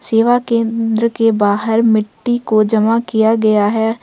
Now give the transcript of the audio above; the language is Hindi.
सेवा केंद्र के बाहर मिट्टी को जमा किया गया है।